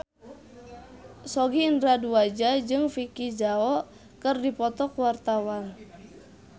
Sogi Indra Duaja jeung Vicki Zao keur dipoto ku wartawan